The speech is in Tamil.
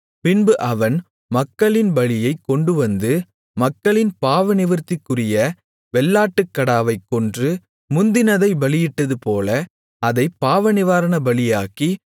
பின்பு அவன் மக்களின் பலியைக்கொண்டுவந்து மக்களின் பாவநிவிர்த்திக்குரிய வெள்ளாட்டுக்கடாவைக் கொன்று முந்தினதைப் பலியிட்டதுபோல அதைப் பாவநிவாரணபலியாக்கி